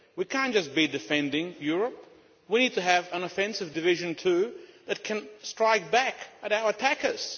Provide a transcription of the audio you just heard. We cannot just be defending Europe, we need to have an offensive division too that can strike back at our attackers.